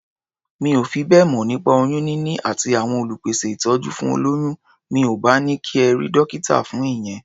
Mi ò fi bẹ́ẹ̀ mọ̀ nípa oyún níní àti àwọn olùpèsẹ̀ ìtọ́jú fún olóyún. Mi ò bá ní kí ẹ rí dọ́kítà fún ìyẹn.